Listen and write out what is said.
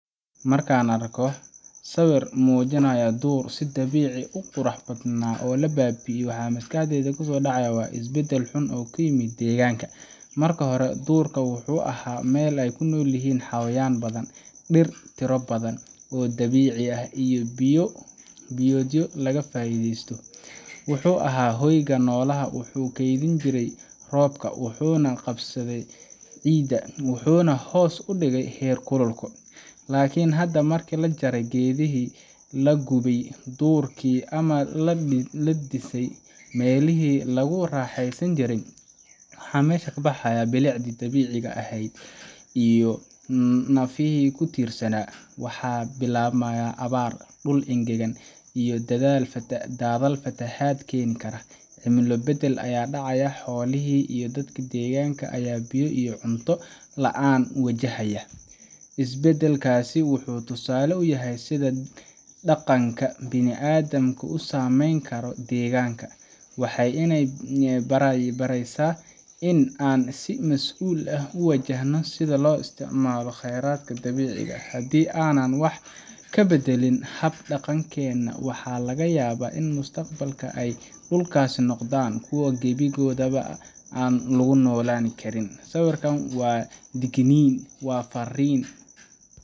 Marka aan arko sawir muujinaya duur si dabiici ah u qurux badan oo hadda baaba’ay, waxa maskaxdayda ku soo dhaca waa isbeddel xun oo ku yimid deegaanka. Mar hore, duurka wuxuu ahaa meel ay ku noolyihiin xayawaan badan, dhir tiro badan oo dabiici ah, iyo il biyoodyo laga faa’iideysto. Wuxuu ahaa hoyga noolaha, wuxuu keydin jiray roobka, wuxuu qabsaday ciidda, wuxuuna hoos u dhigay heerkulka deegaanka. Laakiin hadda, markii la jaray geedihii, la gubay duurkii, ama la dhisay meelihii lagu raaxeysan jiray, waxa meesha ka baxay bilicdii dabiiciga ahayd iyo nafihii ku tiirsanaa. Waxaa bilaabmaya abaar, dhul engegan, iyo daadad fatahaad keeni kara. Cimilo beddel ayaa dhacaya, xoolihii iyo dadkii deegaanka ayaa biyo iyo cunto la’aan wajahaya. Isbeddelkaasi wuxuu tusaale u yahay sida dhaqanka bini’aadamku u saameyn karo deegaanka. Waxay ina baraysaa in aan si mas’uul ah u wajahno sida aan u isticmaaleyno khayraadka dabiiciga ah. Haddii aanan wax ka beddelin hab dhaqankeena, waxa laga yaabaa in mustaqbalka ay dhulkaasi noqdaan kuwo gebi ahaanba aan lagu noolaan karin. Sawirkaasi waa digniin. Waa farriin